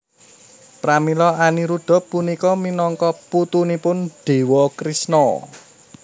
Pramila Aniruda punika minangka putunipun Dewa Krishna